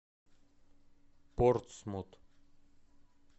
портсмут